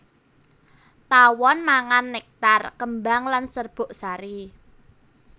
Tawon mangan nektar kembang lan serbuk sari